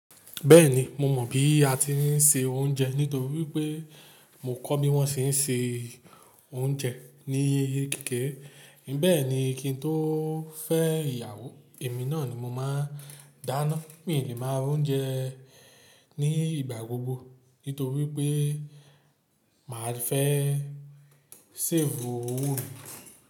Bẹ́ẹ̀ni, mo mọ̀ bí a ti ń se oúnjẹ nítorí pé mo kọ́ bí wọ́n ṣe ń se oúnjẹ ní kekere. Bẹ́ẹ̀ni kí n tó fẹ́ ìyàwó, èmi náà ni mo máa dáná, mi ò lè má ra oúnjẹ ní ìgbà gbogbo nítorí pé màá fẹ́ séfù owó mi.